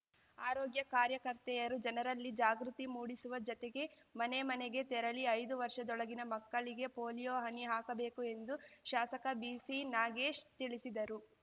ಆರೋಗ್ಯ ಕಾರ್ಯಕರ್ತೆಯರು ಜನರಲ್ಲಿ ಜಾಗೃತಿ ಮೂಡಿಸುವ ಜತೆಗೆ ಮನೆ ಮನೆಗೆ ತೆರಳಿ ಐದು ವರ್ಷದೊಳಗಿನ ಮಕ್ಕಳಿಗೆ ಪೋಲಿಯೋ ಹನಿ ಹಾಕಬೇಕು ಎಂದು ಶಾಸಕ ಬಿಸಿ ನಾಗೇಶ್ ತಿಳಿಸಿದರು